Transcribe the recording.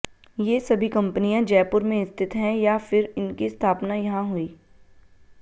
ये सभी कंपनियां जयपुर में स्थित हैं या फिर इनकी स्थापना यहां हुई